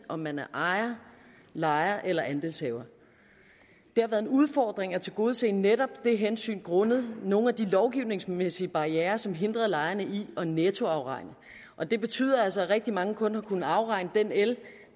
om man er ejer lejer eller andelshaver det har været en udfordring at tilgodese netop det hensyn grundet nogle af de lovgivningsmæssige barrierer som hindrede lejerne i at nettoafregne og det betyder altså at rigtig mange kun har kunnet afregne den el